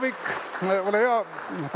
Ilusaid jõule!